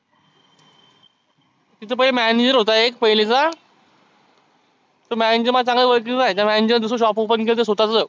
तीथ पहिलं एक manager होता पहिलेचा तो manager माझ्या चांगाला ओळखीचा आहे. ह्या manager दुसरा shop open केलं स्वतः च.